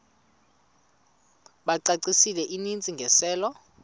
bacacisele intsi ngiselo